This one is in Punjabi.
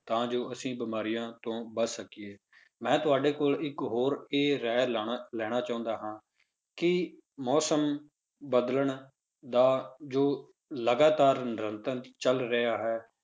ਤਾਂ ਜੋ ਅਸੀਂ ਬਿਮਾਰੀਆਂ ਤੋਂ ਬਚ ਸਕੀਏ ਮੈਂ ਤੁਹਾਡੇ ਕੋਲ ਇੱਕ ਹੋਰ ਇਹ ਰਾਏ ਲੈਣਾ, ਲੈਣਾ ਚਾਹੁੰਦਾ ਹਾਂ ਕਿ ਮੌਸਮ ਬਦਲਣ ਦਾ ਜੋ ਲਗਾਤਾਰ ਨਿਰੰਤਰ ਚੱਲ ਰਿਹਾ ਹੈ,